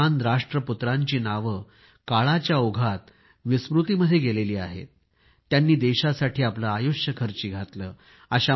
या महान राष्ट्रपुत्रांची नावे काळाच्या ओघात विस्मृतीमध्ये गेली आहेत त्यांनी देशासाठी आपले आयुष्य खर्ची घातले आहे